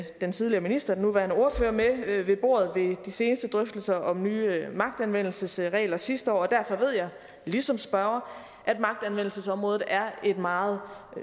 den tidligere minister og nuværende ordfører med ved bordet ved de seneste drøftelser om nye magtanvendelsesregler sidste år og derfor ved jeg ligesom spørgeren at magtanvendelsesområdet er et meget